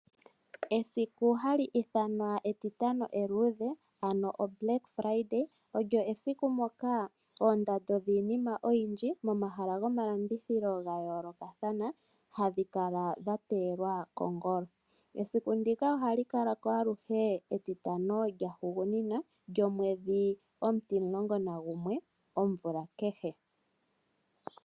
Esiku hali ithanwa etitano eluudhe ano o'Black Friday' olyo esiku moka oondando dhiinima oyindji momahala gomalandithilo ga yoolokathana hadhi kala dha teyelwa kongolo. Esiku ndika oha li kala ko aluhe metitano lya hugunina lyo mwedhi omutimulongo na gumwe omvula kehe.